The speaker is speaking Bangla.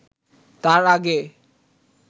তাঁর আগে